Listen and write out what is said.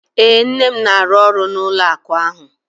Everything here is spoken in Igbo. Ee, nne m na-arụ ọrụ n'ụlọ akụ ahụ.